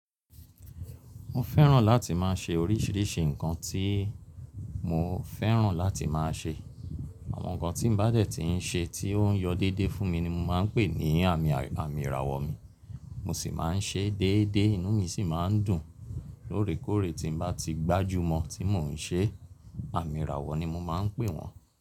Mo fẹ́ràn láti máa ṣe oríṣìíríṣìí ǹkan tí mo fẹ́ràn láti máa ṣe. Àwọn ǹkan tí m bá dẹ̀ ti ń ṣe tí ó ń yọ déédé fún mi ni mo máa ń pè ní àmì, àmì ìràwọ̀ mi. Mo sì máa ń ṣe é déédé, inú mi sì máa ń dùn lóòrèkóòrè tí m bá ti gbájúmọ̀ tí mò ń ṣe. Àmì ìràwọ̀ ni mo máa ń pè wọ́n.